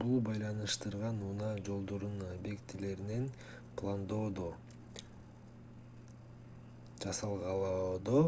бул байланыштар унаа жолдорунун объектилерин пландоодо жасалгалоодо